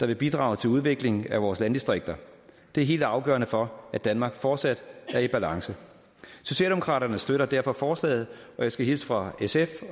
der vil bidrage til udviklingen i vores landdistrikter det er helt afgørende for at danmark fortsat er i balance socialdemokraterne støtter derfor forslaget og jeg skal hilse fra sf